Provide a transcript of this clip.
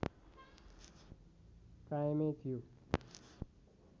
कायमै थियो